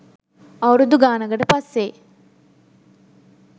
අවුරුදු ගානකට පස්සේ